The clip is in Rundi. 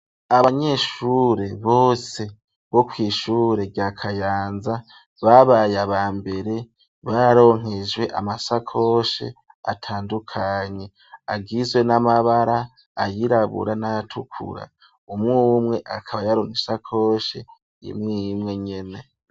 Abanyeshure bose bo kwishure rya kayanza babaye aba mbere baronkejwe amasakoshe atandukanye agizwe n'amabara ayirabura n'ayatukura umwe umwe akaba yaronke isakoshe yimwe y'imwe nyene.